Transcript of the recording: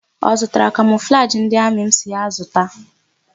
Ọ zụtara kamọflajị ndị amị m sịrị ya zụta?